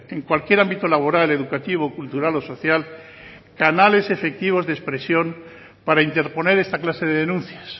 en cualquier ámbito laboral educativo cultural o social canales efectivos de expresión para interponer esta clase de denuncias